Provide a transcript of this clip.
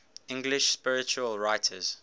english spiritual writers